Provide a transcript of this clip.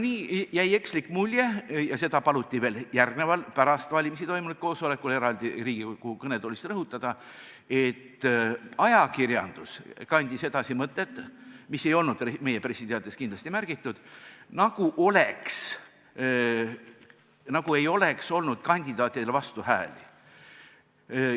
Nii jäi ekslik mulje, ja seda paluti veel järgneval, pärast valimisi toimunud koosolekul eraldi Riigikogu kõnetoolis rõhutada, et ajakirjandus kandis edasi mõtet, mida kindlasti ei olnud meie pressiteates märgitud, nagu poleks valitud kandidaatidele esitatud vastuhääli.